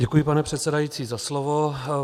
Děkuji, pane předsedající, za slovo.